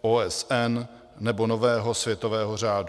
OSN nebo nového světového řádu.